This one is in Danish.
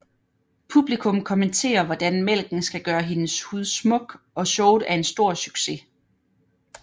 Publikum kommenterer hvordan mælken skal gøre hendes hud smuk og showet er en stor succes